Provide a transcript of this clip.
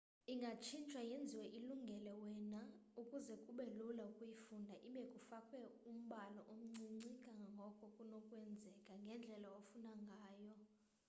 ingatshintshwa yenziwe ilungele wena ukuze kube lula ukuyifunda ibe kufakwe umbala omncinci kangangoko kunokwenzeka ngendlela ofuna ngayo